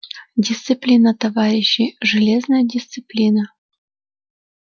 дисциплина товарищи железная дисциплина